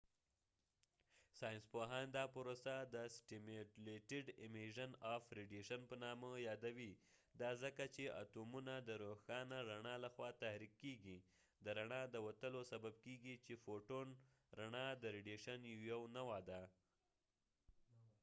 ساینسپوهان دا پروسه د سټیمیولیټډ امیژن اف ریډیشن په نامه یادوي ، دا ځکه چې اتومونه د روښانه رڼا له خوا تحریک کېږی د فوټون photonد رڼا د وتلو سبب کېږی چې رڼا د ریډیشن یو نوعه ده